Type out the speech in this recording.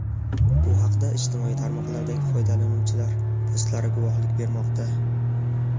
Bu haqda ijtimoiy tarmoqlardagi foydalanuvchilar postlari guvohlik bermoqda.